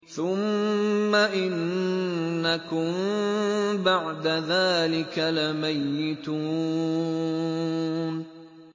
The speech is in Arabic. ثُمَّ إِنَّكُم بَعْدَ ذَٰلِكَ لَمَيِّتُونَ